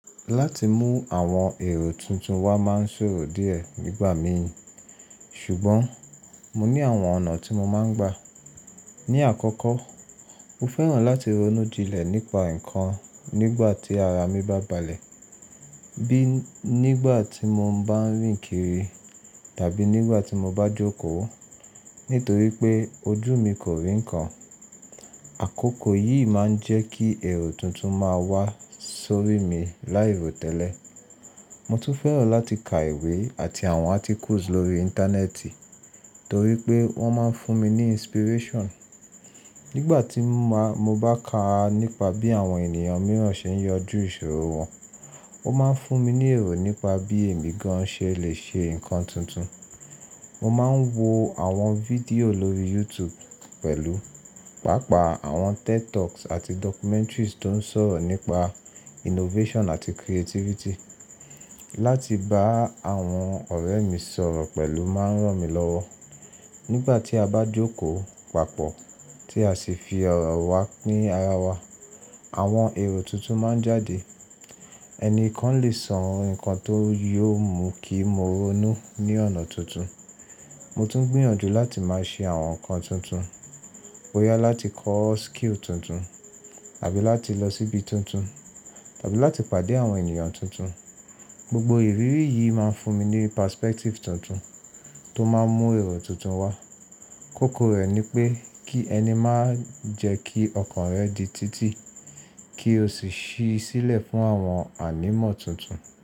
Láti mú àwọn èrò tuntun wá máa ń ṣòro díẹ̀ nígbà mí, ṣùgbọ́n mo ní àwọn ọ̀nà tí mo máa ń gbà. Ni àkọ́kọ́, mo fẹ́ràn láti ronú jinlẹ̀ nípa nǹkan nígbà tí ara mi bá balẹ̀, bí i nígbà tí mo bá ń rìn kiri tàbí nígbà tí mo bá jókòó. Nítorí pé ojú mi kò rí nǹkan. Àkókò yìí máa ń jẹ́ kí èrò tuntun máa wá sórí mi láì rò tẹ́lẹ̀. Mo tún fẹ́ràn láti kà ìwé àti àwọn articles lórí Íńtánẹ́ẹ̀tì torí pé wọ́n máa ń fún mi ní inspiration. Nígbà tí mo bá ka nípa bí àwọn ènìyàn mìíràn ṣe ń yanjú ìṣòro wọn, ó máa ń fún mi ní èrò nípa bí èmi gan-an ṣe lè ṣe nǹkan tuntun. Mo máa ń wo àwọn fídíò lórí YouTube pẹ̀lú, pàápàá àwọn TED Talks àti documentaries tó ń sọ̀rọ̀ nípa innovation àti creativity. Láti bá àwọn ọ̀rẹ́ mi sọ̀rọ̀ pẹ̀lú máa ń ràn mí lọ́wọ́. Nígbà tí a bá jókòó, pàápọ̀, tí a sì fi ọ̀rọ̀ wa ni ara wa, àwọn èrò tuntun máa ń jáde. Ẹnìkan lè sọ nǹkan tó yóò mú kí mo ronú ní ọ̀nà tuntun. Mo tún gbìyànjú láti máa ṣe àwọn nǹkan tuntun, boyá láti kọ́ skill tuntun, tàbí láti lọ síbi tuntun, tàbí láti pàdé àwọn ènìyàn tuntun. Gbogbo ìrírí yìí máa ń fún mi ní perspective tuntun tó máa ń mú èrò tuntun wá. Kókó rẹ̀ ni pé kí ẹni máa jẹ́ kí ọkàn rẹ di títì kí o sì ṣí í sílẹ̀ fún àwọn ànímọ́ tuntun.